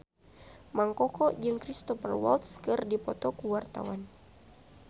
Mang Koko jeung Cristhoper Waltz keur dipoto ku wartawan